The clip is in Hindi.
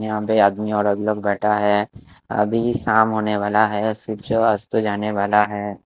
यहाँ पे आदमी और औरत लोग बैठा है अभी शाम होने वाला है सूरज जो है वो अस्त होने वाला है।